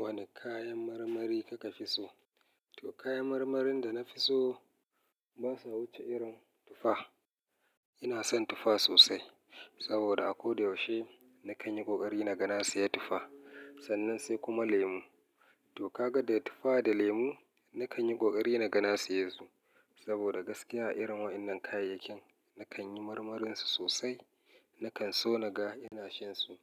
Wani kayan marmari kaka fi so? To kayan marmarin da na fi so ba sa wuce irin tufa. Ina son tufa sosai saboda a koda yaushe na kan yi ƙoƙari na ga na siya tufa sannan sai kuma lemu. To ka ga da tufa da lemu na kan yi ƙoƙari na ga na siye su saboda gaskiya irin waɗannan kayayyakin na kan yi marmarinsu sosai. Na kan so na ga ina shinsu.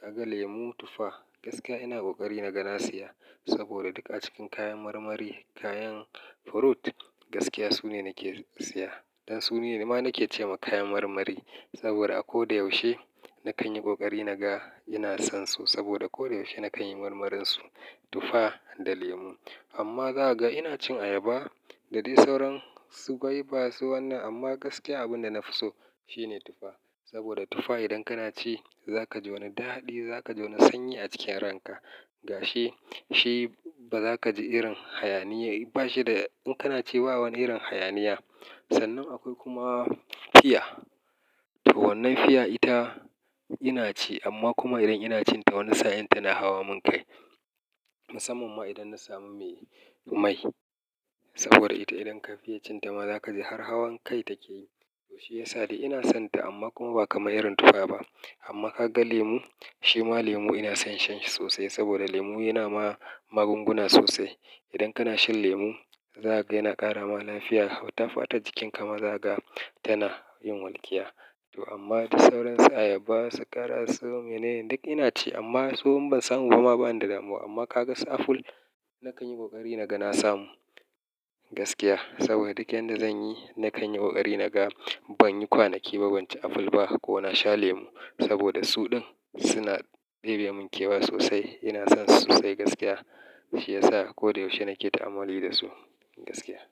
Ka ga lemu, tufa gaskiya ina ƙoƙari na ga na siya saboda duk a cikin kayan marmari, kayan fruit gaskiya su ne nake siya. Dan su ne ma nake ce ma kayan marmari saboda a koda yaushe na kan yi ƙoƙari na ga ina son su saboda koda yaushe na kan yi marmarinsu tufa da lemu. Amma za ka ga ina cin ayaba da dai sauran su gwaiba su wannan amma gaskiya abin da na fi so shi ne tufa. Saboda tufa idan kana ci za ka ji wani daɗi, za ka ji wani sanyi a cikin ranka gashi shi ba za ka ji irin hayaniya. Bashi da in kana ci ba wani irin hayaniya. Sannan akwai kuma fiya. To wannan fiya ita ina ci amma kuma idan ina cin ta wani sa'in tana hawa min kai. Musamman ma idan na samu me mai saboda ita idan ka fiya cin ta ma za ka ji har hawan kai take yi. To shi ya sa da ina son ta amma kuma ba kamar irin tufa ba. Amma ka ga lemu, shi ma lemu ina son shan shi sosai saboda lemu yana ma magunguna sosai. Idan kana shan lemu za ka ga yana ƙara ma lafiya. Hau ta fata jikinka ma za ka ga tana yin walƙiya. To amma dai sauransu ayaba, sakara, su menene duk ina ci amma su in ban samu ba ma bani da damuwa. Amma ka ga su aful, na kan yi ƙoƙari na ga na samu gaskiya saboda duk yanda zan yi na kan yi ƙoƙari na ga ban yi kwanaki ba banci apple ba ko na sha lemu saboda su ɗin suna ɗebe mun kewa sosai. Ina son su sosai gaskiya. Shi ya sa koda yaushe nake ta amauli da su gaskiya.